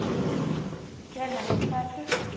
Remek, hvað er klukkan?